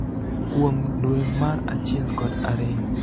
kuom dwe mar achiel kod ariyo.